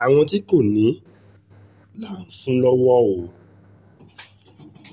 àwọn tí kò ní là ń fún lọ́wọ́ o